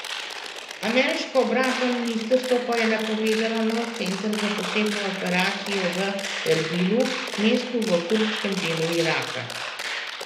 Ameriško obrambno ministrstvo pa je napovedalo nov center za posebne operacije v Erbilu, mestu v kurdskem delu Iraka.